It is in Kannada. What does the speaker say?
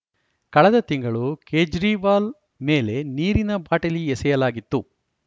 ಕಳೆದ ತಿಂಗಳು ಕೇಜ್ರಿವಾಲ್‌ ಮೇಲೆ ನೀರಿನ ಬಾಟಲಿ ಎಸೆಯಲಾಗಿತ್ತು